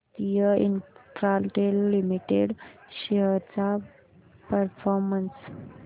Bharti Infratel limited shares चा performance